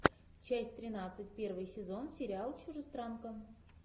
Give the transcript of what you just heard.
часть тринадцать первый сезон сериал чужестранка